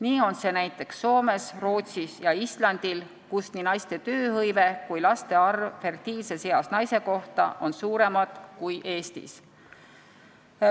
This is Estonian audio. Nii on see näiteks Soomes, Rootsis ja Islandil, kus nii naiste tööhõive kui ka laste arv fertiilses eas naise kohta on suuremad kui Eestis.